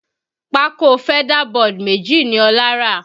Pákó feather board méjì ni Ọlá rà